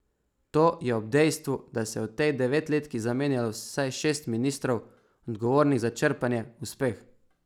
To je ob dejstvu, da se je v tej devetletki zamenjalo vsaj šest ministrov, odgovornih za črpanje, uspeh.